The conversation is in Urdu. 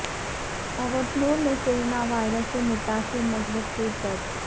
اوٹنور میں کرونا وائرس سے متاثرہ مثبت کیس درج